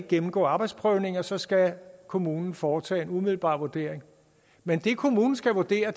gennemgå arbejdsprøvninger men så skal kommunen foretage en umiddelbar vurdering men det kommunen skal vurdere